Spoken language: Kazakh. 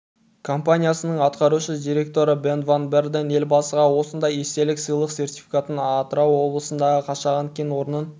компаниясының атқарушы директоры бен ван берден елбасыға осындай естелік сыйлық сертификатын атырау облысындағы қашаған кен орнын